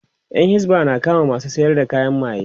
Yan hisba na kama masu sayar da kayan maye